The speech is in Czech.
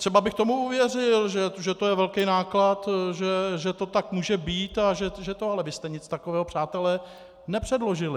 Třeba bych tomu uvěřil, že to je velký náklad, že to tak může být, ale vy jste nic takového, přátelé, nepředložili.